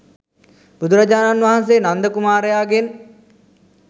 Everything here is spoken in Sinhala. බුදුරජාණන් වහන්සේ නන්ද කුමාරයාගෙන්